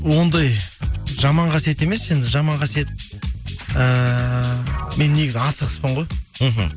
ондай жаман қасиет емес енді жаман қасиет ііі мен негізі асығыспын ғой мхм